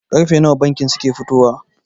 Karfe nawa bankin suke fitowa?